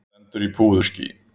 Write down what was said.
Stendur í púðurskýi.